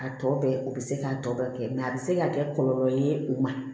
A tɔ bɛɛ o bɛ se k'a tɔ bɛɛ kɛ mɛ a bɛ se ka kɛ kɔlɔlɔ ye o ma